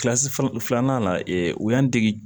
Kilasi filanan filanan la u y'an dege